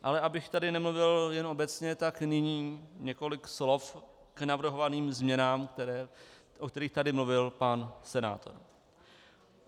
Ale abych tady nemluvil jen obecně, tak nyní několik slov k navrhovaným změnám, o kterých tady mluvil pan senátor.